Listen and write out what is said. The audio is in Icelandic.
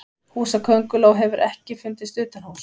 húsakönguló hefur ekki fundist utanhúss